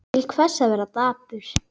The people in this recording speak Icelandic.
Til hvers að vera dapur?